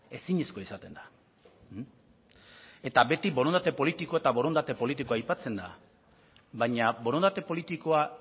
ezinezkoa izaten da eta beti borondate politiko eta borondate politikoa aipatzen da baina borondate politikoa